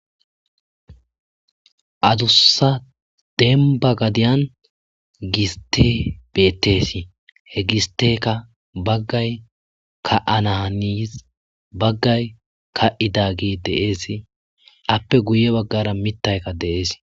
adussa demba gadiyan giste bettesi he gisteka baggay ka7ananis baggay ka7ida gi deees appe guye baggara mittaykka deees